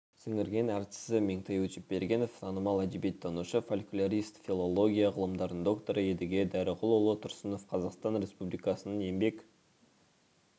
сіңірген әртісі меңтай өтепбергенов танымал әдебиеттанушы-фольклорист филология ғылымдарының докторы едіге дәріғұлұлы тұрсынов қазақстан республикасының еңбек